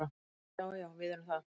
Já, já við erum það.